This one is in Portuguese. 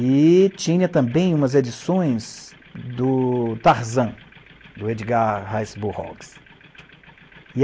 E tinha também umas edições do Tarzan, do Edgar Rice Burroughs.